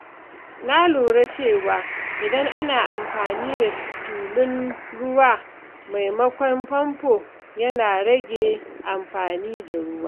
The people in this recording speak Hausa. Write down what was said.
Na lura cewa idan ana amfani da tulun ruwa maimakon famfo, yana rage amfani da ruwa.